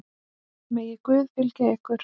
Megi Guð fylgja ykkur.